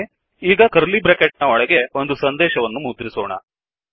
ಸರಿ ಈಗ curly bracket ನ ಒಳಗೆ ಒಂದು ಸಂದೇಶವನ್ನು ಮುದ್ರಿಸೋಣ